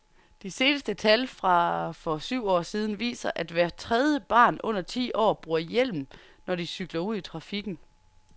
De seneste tal fra for syv år siden viser, at hvert tredie barn under ti år bruger hjelm, når de cykler ud i trafikken.